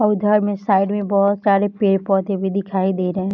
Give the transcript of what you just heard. और इधर में साइड में बहुत सारे पेड़-पौधे भी दिखाई दे रहें हैं।